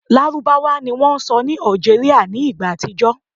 Lárúbáwá ni wón sọ ní Algeria ní ìgbà àtijó